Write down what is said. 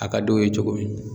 A ka d'o ye cogo min